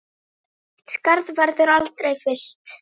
Þitt skarð verður aldrei fyllt.